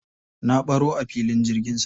Na baro a filin jirgin sama.